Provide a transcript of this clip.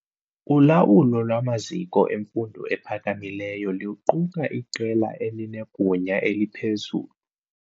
Ulawulo lwamaziko emfundo ephakamileyo luquka iqela elinegunya eliphezulu.